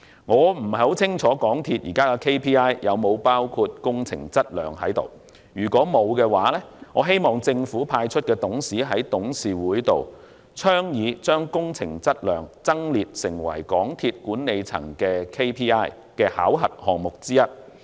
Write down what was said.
我不太清楚港鐵公司現時的 KPI 有否包含工程質量，如果沒有，我希望政府派出的董事在董事局上倡議將工程質量增列成為港鐵公司管理層 KPI 的考核項目之一。